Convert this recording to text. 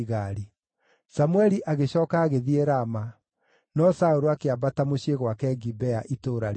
Samũeli agĩcooka agĩthiĩ Rama, no Saũlũ akĩambata mũciĩ gwake Gibea itũũra rĩake.